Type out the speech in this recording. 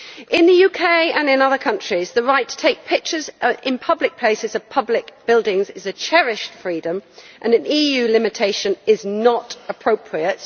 In the UK and in other countries, the right to take pictures in public places of public buildings is a cherished freedom and an EU limitation is not appropriate.